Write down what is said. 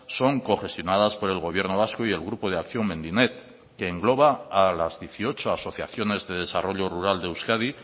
son cogestionadas por el gobierno vasco y el grupo de acción mendinet que engloba a las dieciocho asociaciones de desarrollo rural de euskadi